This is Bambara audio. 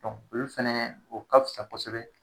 olu fɛnɛ o ka fisa kosɛbɛ.